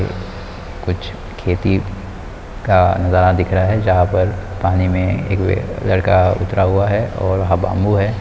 कुछ खेती का नज़ारा दिख रहा है जहाँ पर पानी मे ये ये लड़का उतरा हुआ है औ वहाँ बाम्बू है ।